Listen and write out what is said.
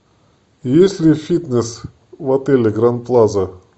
есть ли фитнес в отеле гранд плаза